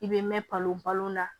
I bɛ mɛn palon balo na